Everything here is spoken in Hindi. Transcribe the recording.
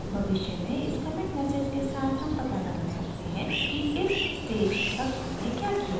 भविष्य में इस commit message के साथ हम पता लगा सकते हैं कि इस stage तक हमने क्या किया